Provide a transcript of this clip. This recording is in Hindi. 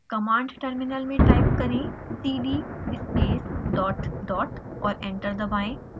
कमांड टर्मिनल में टाइप करें: cd space dot dot और एंटर दबाएं